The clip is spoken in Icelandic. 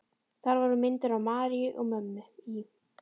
Þar voru myndir af Maríu og mömmu í